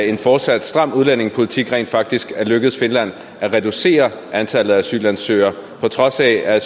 en fortsat stram udlændingepolitik rent faktisk er lykkedes at reducere antallet af asylansøgere på trods af at